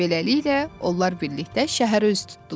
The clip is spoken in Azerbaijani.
Beləliklə, onlar birlikdə şəhərə üz tutdular.